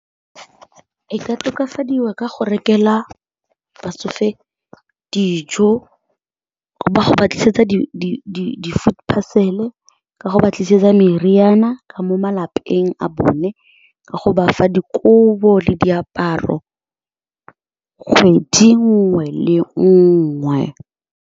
E ka tokafadiwa ka go rekela batsofe dijo, go ba go ba tlisetsa di-food parcel-e, ka go batlisisetsa meriana ka mo malapeng a bone, ka go bafa dikobo le diaparo kgwedi nngwe le nngwe.